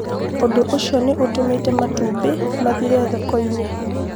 Ũndũ ũcio nĩ ũtũmĩte matumbĩ mathire thoko-inĩ